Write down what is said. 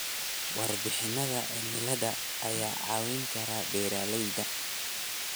Warbixinnada cimilada ayaa caawin kara beeralayda.